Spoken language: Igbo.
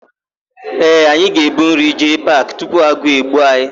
Ee, anyị ga-ebu nri jee paakị tupu agụụ egbuo anyị.